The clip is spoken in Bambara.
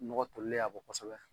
Nɔgɔ tolilen y'a bɔ kosɛbɛ.